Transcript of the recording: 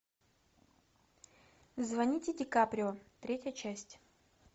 звоните ди каприо третья часть